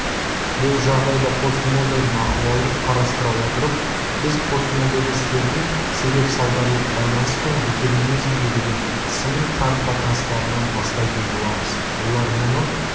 бұл жағдайда постмодерн ахуалын қарастыра отырып біз постмодернистердің себеп салдарлық байланыс пен детерминизмге деген сыни қарым-қатынастарынан бастайтын боламыз олар мұны